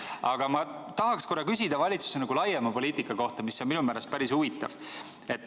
Aga ma tahan küsida valitsuse laiema poliitika kohta, mis on minu meelest päris huvitav.